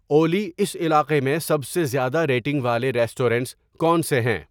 اولی اس علاقے میں سب سے زیادہ ریٹنگ والے ریسٹورنٹس کون سے ہیں